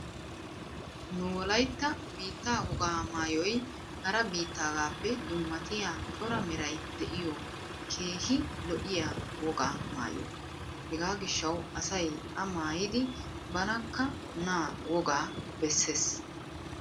Nu wolaytta biittaa woga maayoy hara biittaagaappe dummatiya cora meray diyo keehi lo'iya woga maayo. Hegaa gishshawu asay a maayiiddi banakka na wogaa bessees.